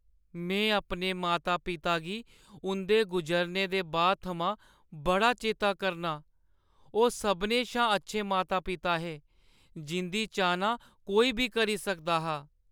में अपने माता-पिता गी उंʼदे गुजरने दे बाद थमां बड़ा चेता करनां। ओह् सभनें शा अच्छे माता-पिता हे, जिंʼदी चाह्‌ना कोई बी करी सकदा हा।